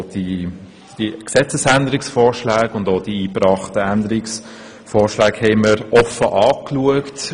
Wir haben die Gesetzesänderungsvorschläge und die vorgebrachten Anträge offen angeschaut.